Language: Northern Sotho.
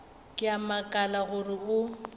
ke a makala gore o